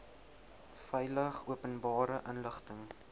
veilig openbare inligting